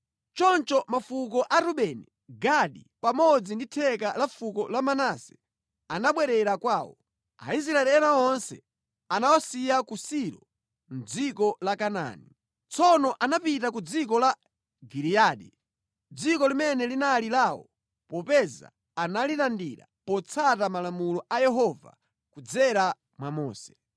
Choncho mafuko a Rubeni, Gadi, pamodzi ndi theka la fuko la Manase anabwerera kwawo. Aisraeli ena onse anawasiya ku Silo mʼdziko la Kanaani. Tsono anapita ku dziko la Giliyadi, dziko limene linali lawo popeza analilandira potsata malamulo a Yehova kudzera mwa Mose.